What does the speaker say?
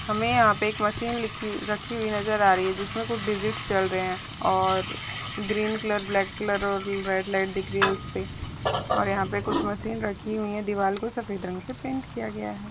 हमे यहा पे एक मशीन रखी रखी हुई नजर आ रही जिसमे कुछ डिजिट चल रहे है और ग्रीन कलर ब्लॅक कलर और रेड लाइट दिख रही है उसपे और यहा पे कुछ मशीन रखी हुई है दीवार को सफ़ेद रंग से पेंट किया गया है।